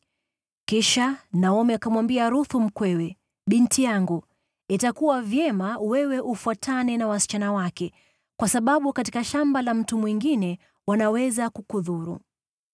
Kisha Naomi akamwambia Ruthu mkwewe, “Binti yangu, itakuwa vyema wewe ufuatane na wasichana wake, kwa sababu katika shamba la mtu mwingine wanaweza kukudhuru.”